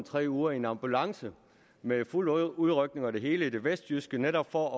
tre uger i en ambulance med fuld udrykning og det hele i det vestjyske netop for